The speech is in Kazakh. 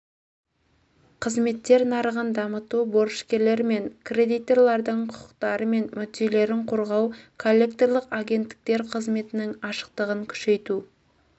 қызметтер нарығын дамыту борышкерлер мен кредиторлардың құқықтары мен мүдделерін қорғау коллекторлық агенттіктер қызметінің ашықтығын күшейту